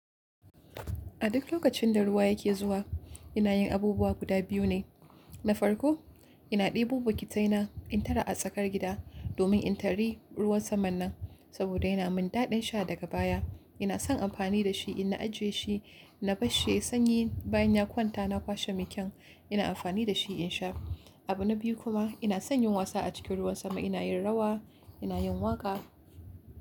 A duk lokacin da ruwa yake zuwa ina yin abubuwa guda biyu ne. Na farko, ina ɗibo bukitaina in tara a tsakar gida domin in tari ruwan saman nan saboda yana min daɗin sha daga baya. Ina son amfani da shi in na ajiye shi, na bashi yayi sanyi bayan ya kwanta na kwashe mekyan ina amfani da shi in sha. Abu na biyu kuma ina son yin wasa a cikin ruwan sama. Ina yin rawa, ina yin waƙa.